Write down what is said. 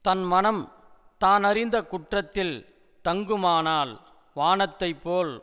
தன் மனம் தான் அறிந்த குற்றத்தில் தங்குமானால் வானத்தைப் போல்